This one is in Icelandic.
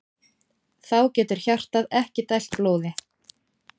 Þá getur hjartað ekki dælt blóði.